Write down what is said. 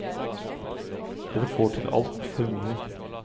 Dere får til alt for mye.